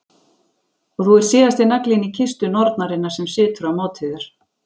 Og þú ert síðasti naglinn í kistu nornarinnar sem situr á móti þér.